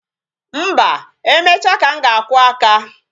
Mba, emecha ka m ga-akwụ aka